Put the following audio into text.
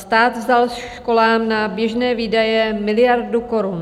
Stát vzal školám na běžné výdaje miliardu korun.